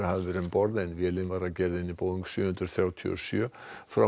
um borð en vélin var af gerðinni Boeing sjö hundruð þrjátíu og sjö frá